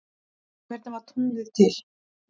Hvernig varð tunglið til?